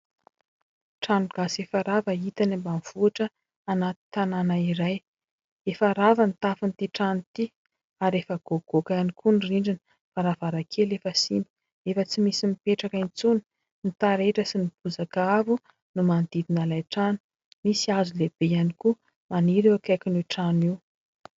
Trano gasy efa rava hita any ambanivohitra anaty tanàna iray. Efa rava ny tafon'ity trano ity ary efa goagoaka ihany koa ny rindrina ; ny varavarankely efa simba ; efa tsy misy mipetraka intsony. Ny taretra sy ny bozaka avo no manodidina ilay trano, misy hazo lehibe ihany koa maniry eo akaikin'io trano io.